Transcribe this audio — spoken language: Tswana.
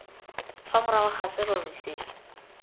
fa morago ga serori se